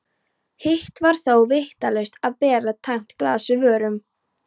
Hitt var þó vítalaust að bera tæmt glas að vörum.